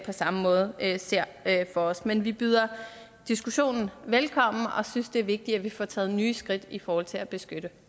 samme måde ser for os men vi byder diskussionen velkommen og synes det er vigtigt at vi får taget nye skridt i forhold til at beskytte